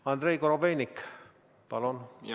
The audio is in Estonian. Andrei Korobeinik, palun!